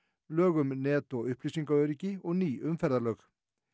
lög um net og uppýsingaöryggi og ný umferðarlög